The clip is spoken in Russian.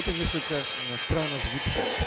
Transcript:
это несколько странно звучит